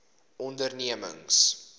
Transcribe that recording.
ondernemings